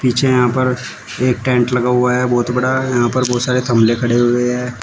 पीछे यहां पर एक टेंट लगा हुआ है बहुत बड़ा यहां पर बहुत सारे गमले खड़े हुए हैं।